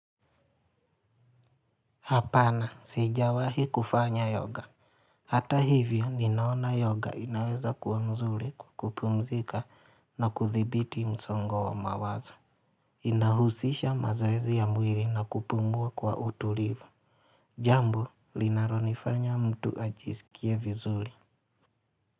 Hapana, sijawahi kufanya yoga. Hata hivyo, ninaona yoga inaweza kuwa mzuri ku kupumzika na kuthibiti msongo wa mawazo. Inahusisha mazoezi ya mwili na kupumbua kwa utulivu. Jambo linalonifanya mtu ajisikie vizuri.